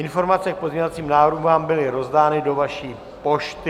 Informace k pozměňovacím návrhům vám byly rozdány do vaší pošty.